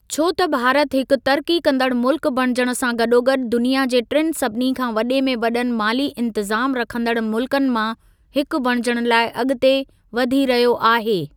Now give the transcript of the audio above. छो त भारत हिकु तरक़ी कंदडु मुल्कु बणिजण सां गॾोगॾु दुनिया जे टिनि सभिनी खां वॾे में वॾनि माली इंतज़ाम रखंदड़ मुल्कनि मां, हिकु बणिजण लाइ अॻिते वधी रहियो आहे।